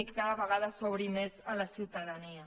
i que cada vegada s’obri més a la ciu·tadania